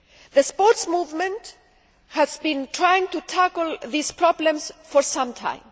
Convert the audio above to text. The sports movement has been trying to tackle these problems for some time.